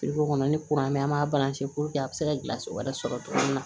kɔnɔ ni kuran mɛ an b'a a bɛ se ka gilanso wɛrɛ sɔrɔ togo min na